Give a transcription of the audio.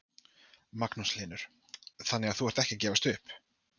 Magnús Hlynur: Þannig að þú ert ekki að gefast upp?